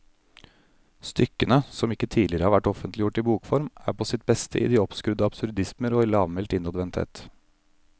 Stykkene, som ikke tidligere har vært offentliggjort i bokform, er på sitt beste i de oppskrudde absurdismer og i lavmælt innadvendthet.